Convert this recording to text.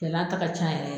Gɛlɛya ta ka ca yɛrɛ